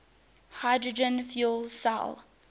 hydrogen fuel cell